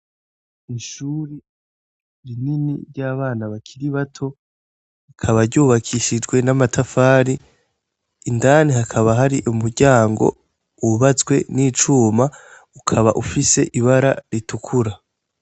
Ishuri rinini ry' abana bakiri bato, rikaba ry' ubakishijwe n' amatafari, indani hakaba hari umuryango hubatswe n' icuma, ukaba ufise ibara ritukura.